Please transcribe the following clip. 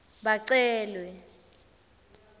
bacelwe